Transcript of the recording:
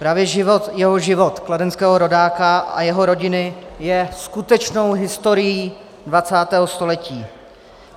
Právě jeho život, kladenského rodáka a jeho rodiny, je skutečnou historií 20. století.